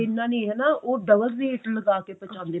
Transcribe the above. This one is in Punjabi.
ਇਹਨਾਂ ਨੇ ਉਹ double rate ਲੱਗਾ ਕੇ ਪੁਹਚੰਦੇ ਨੇ